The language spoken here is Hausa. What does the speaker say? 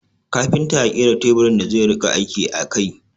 Kafinta ya kera teburin da zai rika aiki a kai